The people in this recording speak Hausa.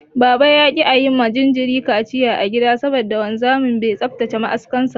Baba ya ƙi ayi ma jinjirin kaciya a gida saboda wanzami bai tsaftace ma'askan sa ba.